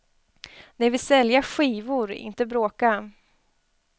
De vill sälja skivor, inte bråka.